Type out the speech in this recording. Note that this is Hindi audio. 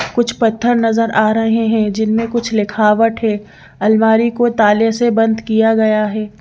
कुछ पत्थर नजर आ रहे हैं जिनमें कुछ लिखावट है अलमारी को ताले से बंद किया गया है।